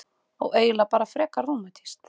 Og eiginlega bara frekar rómantískt.